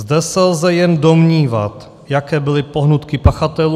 Zde se lze jen domnívat, jaké byly pohnutky pachatelů.